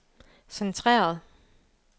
centreret